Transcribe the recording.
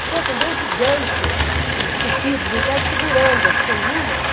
Titãs, assim, dois gigantes esculpidos em pedra, segurando as colunas.